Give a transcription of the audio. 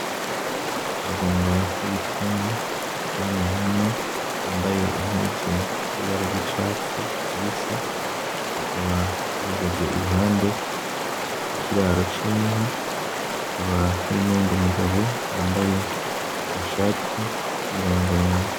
Abaganga b’ibitungwa bakoraniye hamwe bambaye impuzu zibara ry’icatsi kibisi bakaba bahagaze impande y’ikiraro c’inka hakaba hari n’uyundi mugabo yambaye agashati k’imirongorongo.